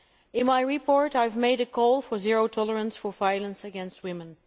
In my report I have made a call for zero tolerance for violence against women.